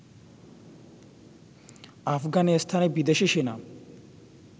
আফগানিস্তানে বিদেশি সেনা